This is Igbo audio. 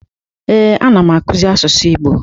Ee, anam akuzi asusu Igbo.